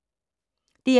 DR2